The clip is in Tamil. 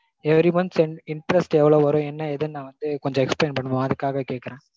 every months interest எவ்ளோ வரும் என்ன ஏதுனு நா வந்து கொஞ்சம் explain பண்ணுவோம் அதுக்காக கேக்கறேன்.